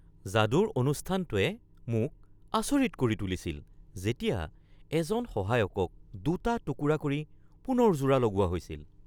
যাদুৰ অনুষ্ঠানটোৱে মোক আচৰিত কৰি তুলিছিল যেতিয়া এজন সহায়কক দুটা টুকুৰা কৰি পুনৰ জোৰা লগোৱা হৈছিল।